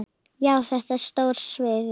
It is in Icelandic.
Já, þetta er stóra sviðið.